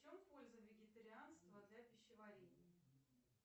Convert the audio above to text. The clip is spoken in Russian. в чем польза вегетарианства для пищеварения